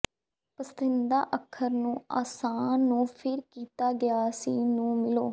ਪਸੰਦੀਦਾ ਅੱਖਰ ਇਸ ਨੂੰ ਆਸਾਨ ਨੂੰ ਫਿਰ ਕੀਤਾ ਗਿਆ ਸੀ ਨੂੰ ਮਿਲੋ